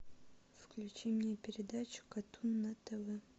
включи мне передачу катун на тв